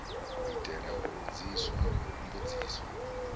itela u vhudziswa mbudziso ha